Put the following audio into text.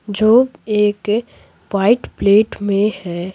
जो एक white plate में है।